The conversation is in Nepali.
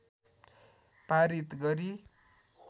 पारित गरी